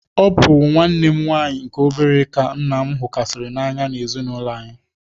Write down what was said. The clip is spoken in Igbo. Ọ bụ nwanne m nwaanyị nke obere ka nna m hukarịsịrị n'anya n'ezinaụlọ anyị.